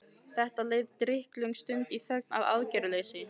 Það leið drykklöng stund í þögn og aðgerðaleysi.